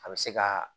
A bɛ se ka